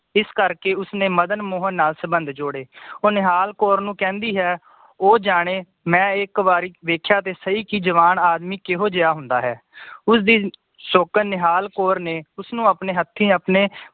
ਇਸ ਕਰਕੇ ਉਸਨੇ ਮਦਨ ਮੋਹਨ ਨਾਲ ਸੰਬੰਧ ਜੋੜੇ ਉਹ ਨਿਹਾਲ ਕੌਰ ਨੂੰ ਕਹਿੰਦੀ ਹੈ ਉਹ ਜਾਣੇ ਮੈ ਇੱਕ ਵਾਰੀ ਵੇਖਿਆ ਕਿ ਸਹੀ ਕਿ ਜਵਾਨ ਆਦਮੀ ਕਿਹੋ ਜੇਹਾ ਹੁੰਦਾ ਹੈ ਉਸਦੀ ਸ਼ੋਕਨ ਨਿਹਾਲ ਕੌਰ ਨੇ ਉਸਨੂੰ ਆਪਣੇ ਹੱਥੀ ਆਪਣੇ